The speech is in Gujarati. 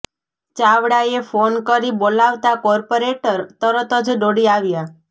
ચાવાળાએ ફોન કરી બોલાવતા કોર્પોરેટર તરત જ દોડી આવ્યા